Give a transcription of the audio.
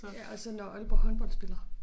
Ja og så når Aalborg Håndbold spiller